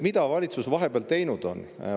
Mida valitsus vahepeal teinud on?